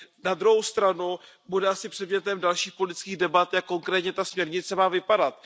Na druhou stranu bude asi předmětem dalších politických debat, jak konkrétně ta směrnice má vypadat.